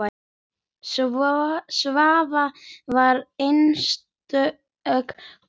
Svava var einstök kona.